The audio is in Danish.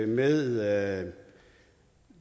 med